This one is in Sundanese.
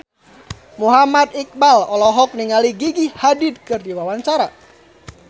Muhammad Iqbal olohok ningali Gigi Hadid keur diwawancara